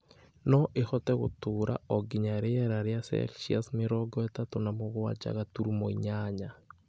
No ĩhote gũtũũra o nginya rĩera rĩa Celsius mĩrongo ĩtatũ na mũgwanja gaturumo inyanya.